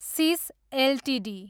cease Ltd